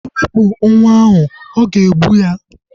Iwepu nwa ahu, o ga-egbu ya